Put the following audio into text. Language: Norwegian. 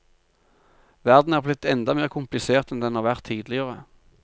Verden er blitt enda mer komplisert enn den har vært tidligere.